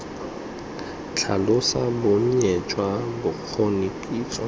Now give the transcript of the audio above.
tlhalosa bonnye jwa bokgoni kitso